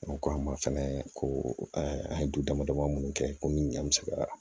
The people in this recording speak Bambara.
ko a ma fɛnɛ ko an ye du damadama munnu kɛ komi an mi se ka